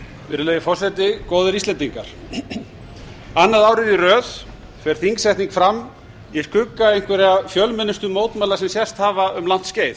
virðulegi forseti góðir íslendingar annað árið í röð fer þingsetning fram í skugga einhverra fjölmennustu mótmæla sem sést hafa um langt skeið